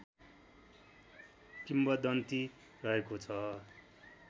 किंवदन्ती रहेको छ